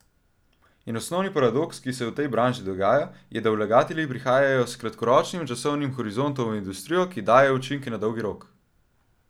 In osnovni paradoks, ki se v tej branži dogaja, je, da vlagatelji prihajajo s kratkoročnim časovnim horizontom v industrijo, ki daje učinke na dolgi rok.